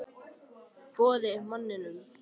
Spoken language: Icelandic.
Boði: Manninum?